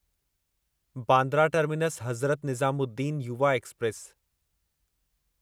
Bandra terminus Hazrat Nizamuddin Yuva express